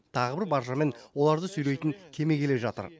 тағы бір баржа мен оларды сүйрейтін кеме келе жатыр